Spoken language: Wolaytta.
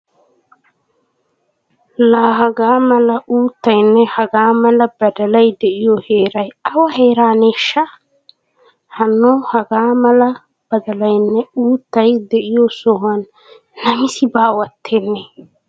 Laa hagaa mala uuttayynne hagaa mala badalay de'iyo heeray awa heeraneeshsha! Hanno hagaa mala badalaynne uuttay de'iyo sohuwan namisi baawattenne!